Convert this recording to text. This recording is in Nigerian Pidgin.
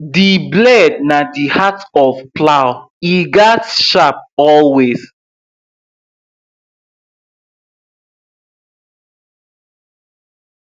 the blade na the heart of plow e gatz sharp always